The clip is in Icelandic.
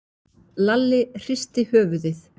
Lalli hristi höfuðið.